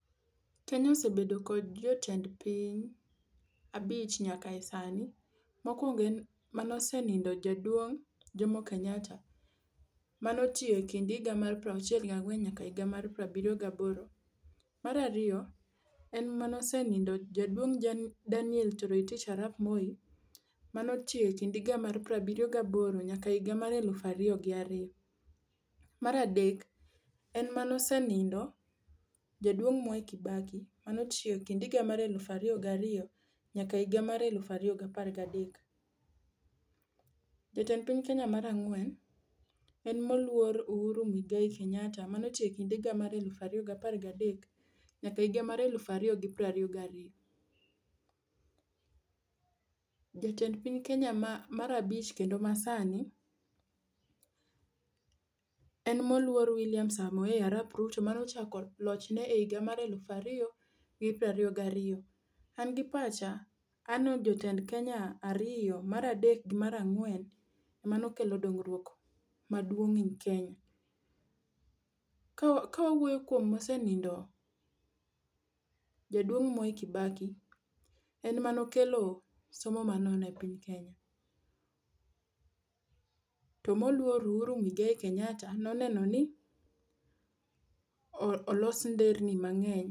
Kenya osebedo kod jotend piny abich nyaka e sani. Mokwongo en mane osenindo Jaduong' Jomo Kenyatta mano otiyo e kind higa mar piero auchiel ga ang'wen nyaka higa mar pier abiryo gi aboro. Mar ariyo, en mane osenindo jaduong' Daniel Toroitich arap Moi mano otiyo kind higa piero abiryo gi aboro nyaka higa mar elufu ariyo gi ariyo. Mar adek en mane osenindo jaduon Mwai Kibaki mane otiyo e kind higa mar elufu ariro gi ariyo nyaka apar elufu ariyo gi apar gi adek. Jatend piny Kenya mar ang'wen en moluor Uhuru Muigai Kenyatta mane otiyo ekind higa mar elufu ariyo gi apar gi adek nyaka ehiga mar elufu ariyo gi piero ariyo gi ariyo. Jatend piny Kenya mar abich kendo masani en moluor William Samoei arap Ruto mane ochako loch ne e higa mar elufu ariyo gi piero aiyo gi ariyo. An gi pacha aneno ni jotend Kenya ariyo, mar adek gi mar ang'wen emane okelo dongruok maduong ne Kenya. Ka wawuoyo kuom mosenindo jaduong' Mwai Kibaki en emane okelo somo manono e piny Kenya. To moluor Uhuru Muigai Kenyatta noneno ni olos nderni mang'eny.